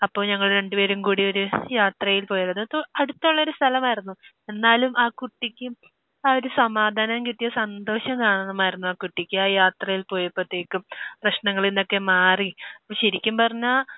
അപ്പോൾ ഞങ്ങൾ രണ്ട് പേരും കൂടി ഒരു യാത്രയിൽ പോയത്. അത് ഇപ്പോൾ അടുത്തുള്ള ഒരു സ്ഥലമായിരുന്നു. എന്നാലും ആ കുട്ടിക്ക് ആ ഒരു സമാധാനം കിട്ടിയ സന്തോഷം കാണണമായിരുന്നു. ആ കുട്ടിക്ക് ആ യാത്രയിൽ പോയപ്പോഴേക്കും. പ്രശ്നങ്ങളിൽ നിന്നൊക്കെ മാറി. അപ്പോൾ ശരിക്കും പറഞ്ഞാൽ